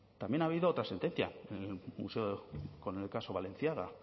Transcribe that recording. también ha habido otra sentencia con el caso balenciaga